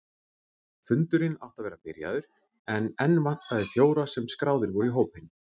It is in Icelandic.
Fundurinn átti að vera byrjaður en enn vantaði fjóra sem skráðir voru í hópinn.